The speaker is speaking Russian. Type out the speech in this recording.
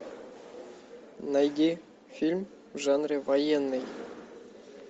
найди фильм в жанре военный